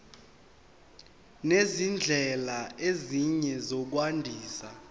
nezindlela ezinye zokwandisa